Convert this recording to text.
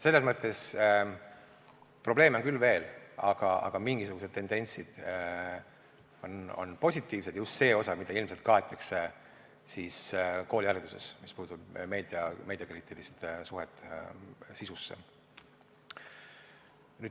Nii et probleeme on küll, aga mingisugused tendentsid on positiivsed, just see osa, mida ilmselt kaetakse koolihariduses, mis puudutab meediakriitiliste suhete sisu.